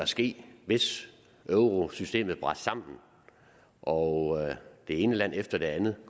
ske hvis eurosystemet brast sammen og det ene land efter det andet i